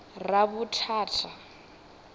ravhuthata